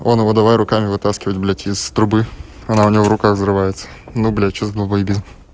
он его давай руками вытаскивать блядь из трубы она у него в руках взрывается ну блядь что за долбоебизм